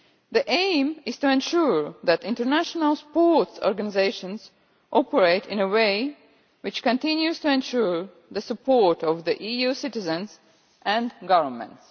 The aim is to ensure that international sports organisations operate in a way which continues to ensure the support of EU citizens and governments.